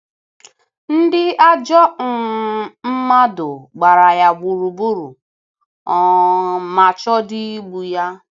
Ndị ajọ um mmadụ gbara ya gburugburu um ma chọọdị igbu ya